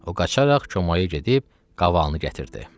O qaçaraq çomağa gedib qavalını gətirdi.